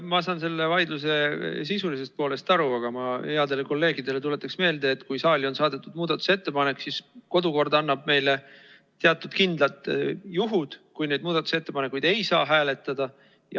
No ma saan selle vaidluse sisulisest poolest aru, aga tuletan headele kolleegidele meelde, et kui saali on saadetud muudatusettepanekuid, siis kodukord annab meile teatud kindlad juhud, kui muudatusettepanekuid ei saa hääletada.